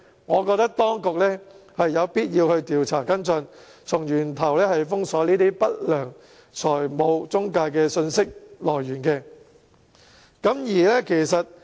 我覺得當局有必要調查跟進，從源頭封鎖不良財務中介的信息來源。